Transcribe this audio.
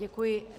Děkuji.